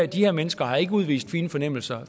de her mennesker har ikke udvist fine fornemmelser